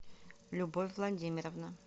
любовь владимировна